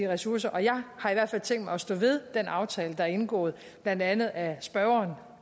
ressourcer og jeg har hvert fald tænkt mig at stå ved den aftale der er indgået blandt andet af spørgeren